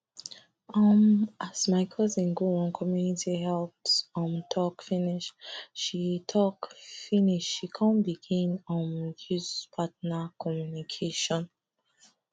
um as my cousin go one community health um talk finish she talk finish she come begin um use partner communication